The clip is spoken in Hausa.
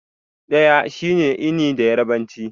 Ɗaya shine 'eni' da yarbanci.